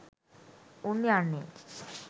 උන් යන්නේ